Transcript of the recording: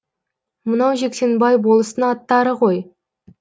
мынау жексенбай болыстың аттары ғой